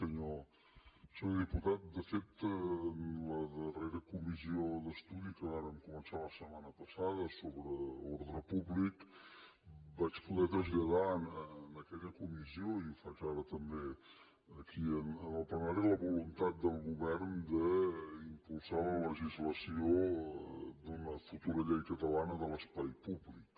senyor diputat de fet en la darrera comissió d’estudi que vàrem començar la setmana passada sobre ordre públic vaig poder traslladar en aquella comissió i ho faig ara també aquí en el plenari la voluntat del govern d’impulsar la legislació d’una futura llei catalana de l’espai públic